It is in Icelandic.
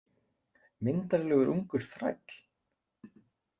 Myndarlegur ungur þræll.